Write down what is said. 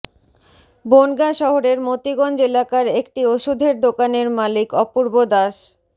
বনগাঁ শহরের মতিগঞ্জ এলাকার একটি ওষুধের দোকানের মালিক অপূর্ব দাস